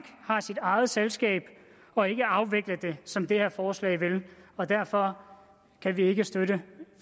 har sit eget selskab og ikke at afvikle det som det her forslag vil og derfor kan vi ikke støtte